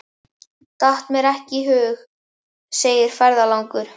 Datt mér ekki í hug, segir ferðalangur.